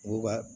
U ka